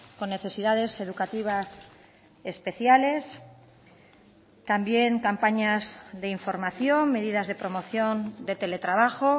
con necesidades educativas especiales también campañas de información medidas de promoción de teletrabajo